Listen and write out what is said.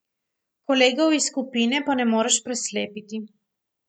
Kolegov iz skupine pa ne moreš preslepiti.